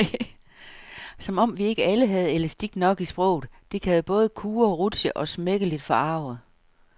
Som om vi ikke alle havde elastik nok i sproget, det kan jo både kurre, rutsche og smækkeligt forarge.